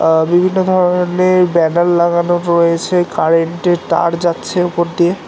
আ বিভিন্ন ধরনের ব্যানার লাগানো রয়েছে কারেন্টের তার যাচ্ছে ওপর দিয়ে